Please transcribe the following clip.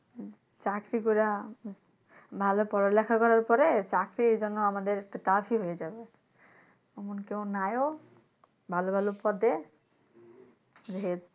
চাকরি করা ভালো পড়া লেখা করার পরে চাপে একটা যেন আমাদের হয়ে যাচ্ছে। এখন কেউ নাইও ভালো ভালো পদে যে,